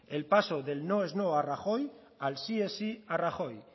el paso del no es no a rajoy al sí es sí a rajoy